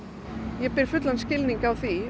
ég hef fullan skilning á því